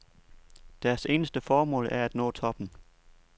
Deres eneste formål er at nå toppen.